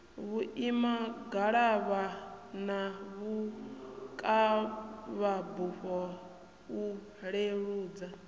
vhuimangalavha na vhukavhabufho u leludza